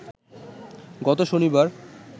গত শনিবার